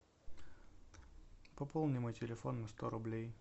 пополни мой телефон на сто рублей